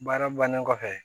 Baara bannen kɔfɛ